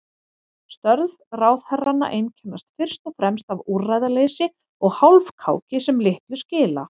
Störf ráðherranna einkennast fyrst og fremst af úrræðaleysi og hálfkáki sem litlu skila.